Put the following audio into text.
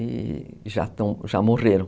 E já morreram.